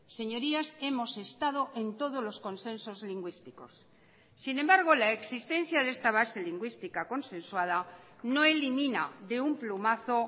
señorías hemos estado en todos los consensos lingüísticos sin embargo la existencia de esta base lingüística consensuada no elimina de un plumazo